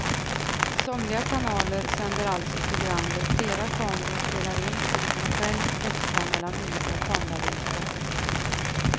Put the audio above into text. Somliga kanaler sänder alltså program där flera kameror spelar in och du kan själv växla mellan olika kameravinklar.